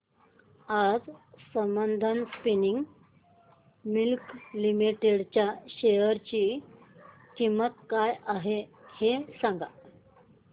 आज Sambandam spinning mills limited च्या share ची किंमत काय आहे हे सांगा